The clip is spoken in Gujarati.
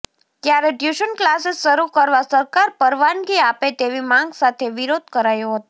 ત્યારે ટ્યુશન ક્લાસિસ શરૂ કરવા સરકાર પરવાનગી આપે તેવી માંગ સાથે વિરોધ કરાયો હતો